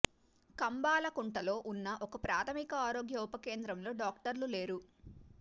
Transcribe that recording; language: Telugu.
కంబాలకుంటలో ఉన్న ఒక ప్రాథమిక ఆరోగ్య ఉప కేంద్రంలో డాక్టర్లు లేరు